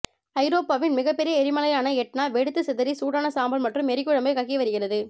ஐரோப்பாவின் மிகப்பெரிய எரிமலையான எட்னா வெடித்து சிதறி சூடான சாம்பல் மற்றும் எரிமலைக்குழம்பை கக்கி வருகிறது